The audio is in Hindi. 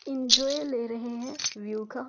इंजॉय ले रहे हैं व्यू का--